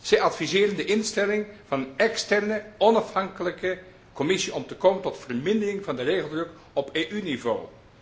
Zij adviseren de instelling van een externe, onafhankelijke commissie om te komen tot vermindering van de regeldruk op EU niveau.